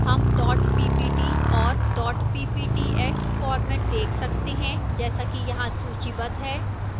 हम dot ppt और dot pptx format देख सकते हैं जैसा कि यहां सूचीबद्ध है